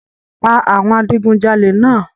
Pa awọn adigunjale náà!